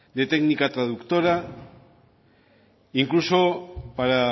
de técnica traductora incluso para